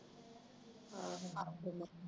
ਆਹੋ